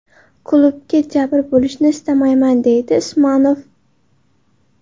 Klubga jabr bo‘lishini istamayapman, − deydi Usmonov.